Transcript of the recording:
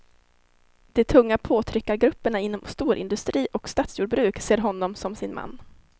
De tunga påtryckargrupperna inom storindustri och statsjordbruk ser honom som sin man.